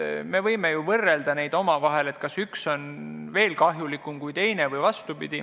Me võime ju neid omavahel võrrelda, et kas üks on kahjulikum kui teine.